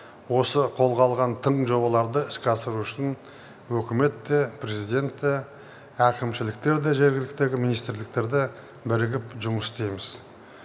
осы қолға алған тың жобаларды іске асыру үшін үкімет те президент те әкімшіліктер де жергіліктегі министрліктер де бірігіп жұмыс істейміз